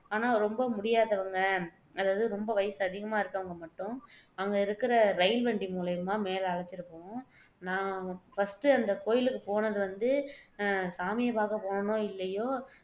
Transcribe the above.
ஆனா ரொம்ப முடியாதவங்க அதாவது வயசு சொம்ப அதிகமா இருக்கவங்க மட்டும் அங்க இருக்குற ரயில் வண்டி மூலியமா மேல அழைச்சுட்டு போகும் நான் ஃபர்ஸ்ட் அந்த கோயிலுக்கு போனது வந்து அஹ் சாமியை பாக்க போனனோ இல்லையோ